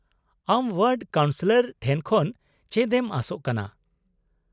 -ᱟᱢ ward councillor ᱴᱷᱮᱱ ᱠᱷᱚᱱ ᱪᱮᱫ ᱮᱢ ᱟᱥᱚᱜ ᱠᱟᱱᱟ ?